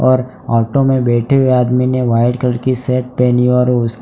और ऑटो में बैठे हुए आदमी ने व्हाइट कलर की शर्ट पहनी और उसके --